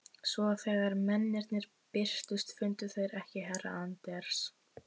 Svo þegar mennirnir birtust fundu þeir ekki herra Anders